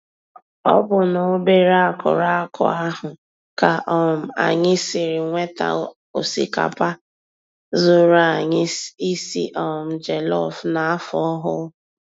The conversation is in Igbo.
Ọ bụ n'obere akụrụ akụ ahụ ka um anyị siri nweta osikapa zuuru anyị isi um jelọf n'afọ ọhụụ